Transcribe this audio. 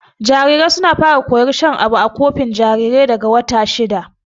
Jarirai suna fara koyar shan abu a kofi jarirai daga wata shida.